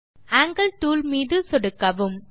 angle tool மீது சொடுக்கவும்